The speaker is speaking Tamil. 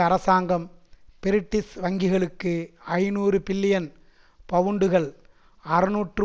அரசாங்கம் பிரிட்டிஷ் வங்கிகளுக்கு ஐநூறு பில்லியன் பவுண்டுகள் அறுநூற்று